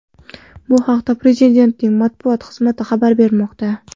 Bu haqda Prezidentning matbuot xizmati xabar bermoqda .